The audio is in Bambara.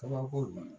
Kabako